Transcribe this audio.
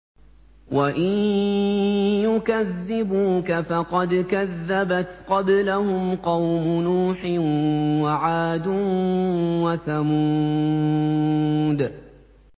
وَإِن يُكَذِّبُوكَ فَقَدْ كَذَّبَتْ قَبْلَهُمْ قَوْمُ نُوحٍ وَعَادٌ وَثَمُودُ